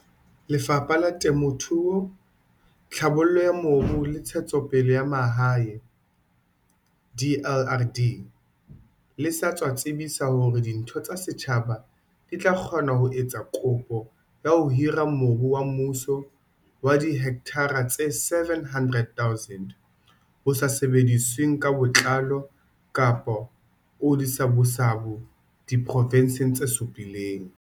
Lefapha la Temo thuo, Tlhabollo ya Mobu le Ntshetsopele ya Mahae, DLRD, le sa tswa tsebisa hore ditho tsa setjhaba di tla kgona ho etsa kopo ya ho hira mobu wa mmuso wa dihekthara tse 700 000 o sa sebedisweng ka botlalo kapa o disabusabu diprovenseng tse supileng.